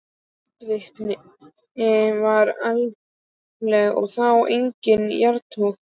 Eldvirkni var allmikil og þá einkum í jarðtroginu.